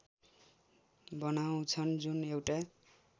बनाउँछन् जुन एउटा